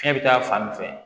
Fiɲɛ bɛ taa fan min fɛ